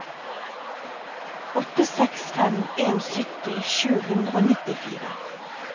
åtte seks fem en sytti sju hundre og nittifire